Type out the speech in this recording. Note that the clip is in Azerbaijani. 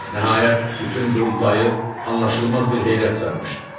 Nəhayət, bütün qurultayı anlaşılmaz bir heyrət sarmışdı.